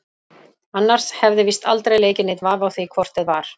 Annars hefði víst aldrei leikið neinn vafi á því hvort eð var.